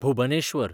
Bhubaneswar